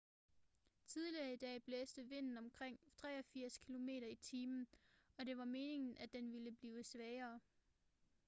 tidligere i dag blæste vinden omkring 83 km/t og det var meningen at den ville blive svagere